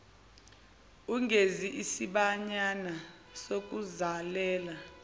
ugeze isibayana sokuzalela